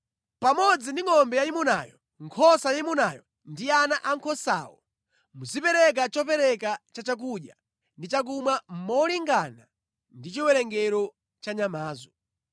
Pamodzi ndi ngʼombe yayimunayo, nkhosa yayimunayo ndi ana ankhosawo, muzipereka chopereka cha chakudya ndi chakumwa molingana ndi chiwerengero cha nyamazo.